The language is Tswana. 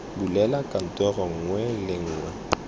bulela kantoro nngwe le nngwe